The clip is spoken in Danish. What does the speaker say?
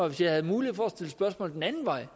hvis jeg havde mulighed for at stille spørgsmål den anden vej